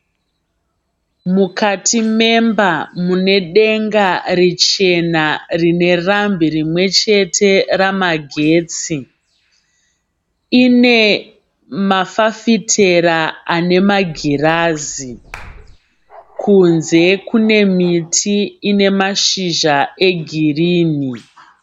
Mukati memba mune denga richena rine rambi rimwechete ramagetsi. Ine mafafitera ane magirazi. Kunze kune miti ine mashizha egirini.